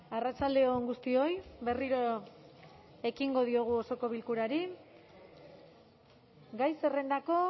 arratsalde on guztioi berriro ekingo diogu osoko bilkurari gai zerrendako